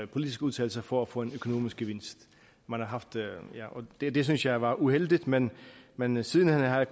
politiske udtalelser for at få en økonomisk gevinst det synes jeg var uheldigt men men siden hen har jeg